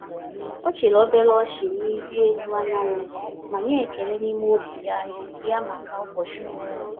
Ọ chịrị obere ọchị na ịrị elu anyanwụ ma nye ekele n’ime obi ya ya maka ụbọchị ọhụrụ.